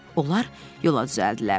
Onlar yola düzəldilər.